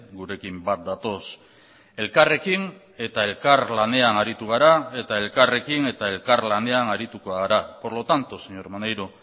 gurekin bat datoz elkarrekin eta elkarlanean aritu gara eta elkarrekin eta elkarlanean arituko gara por lo tanto señor maneiro